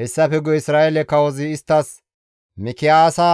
Hessafe guye Isra7eele kawozi isttas, «Mikiyaasa